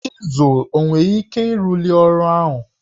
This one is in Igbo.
Chịzụl o nwere ike ịrụli ọrụ ahụ?